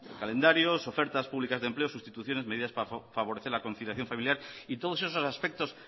calendarios ofertas públicas de empleo sustituciones medidas para favorecer la conciliación familiar y todos esos aspectos